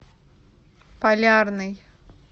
полярный